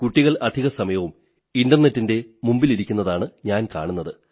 കുട്ടികൾ അധികസമയവും ഇന്റർനെറ്റിന്റെ മുന്നിലിരിക്കുന്നതാണു ഞാൻ കാണുന്നത്